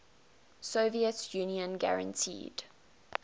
soviet union guaranteed